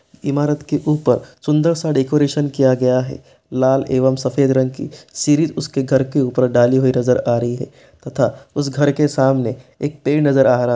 इमारत के ऊपर सुंदर सा डेकोरेशन किया गया है लाल एवं सफेद रंग की सीढ़ी उसके घर के ऊपर डाली हुई नजर आ रही है तथा उस घर के सामने एक पेड़ नजर आ रहा--